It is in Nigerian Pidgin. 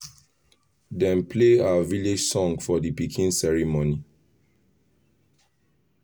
dem play our village song for the pikin ceremony